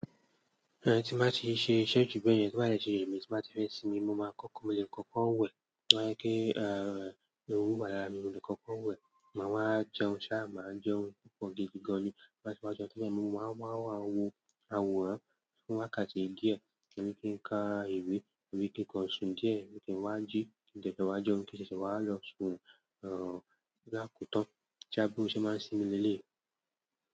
Ẹ tí bà ti ṣe ìṣe jù bẹ́ẹ̀ yẹn tó bá dẹ̀ ti rèmí tí n bá ti fẹ́ sinmi mo máa kọ́kọ́ mo lè kọ́kọ́ wẹ̀ kí ehoro wà lára mi mo lè kọ́kọ́ wẹ̀ máa wá jẹun sáà máa jẹun púpọ̀ gidi gan ni wá síwájú ọ̀tún bá mi mo máa wá wo àwọ̀ wọn fún wákàtí ìdíẹ̀ kí n lè ka ìwé, ìwé kíkan sùn díẹ̀ kí n lè wá jí ní ìtẹ́sìwájú ọkùnrin kí n ṣẹ̀ṣẹ̀ wá lọ sùn ní àkótọ́ tí abímọ̀ ṣe máa sinmi lẹ́ẹ̀.